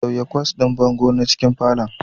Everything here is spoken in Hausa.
Sauya kwas ɗin bango na cikin falon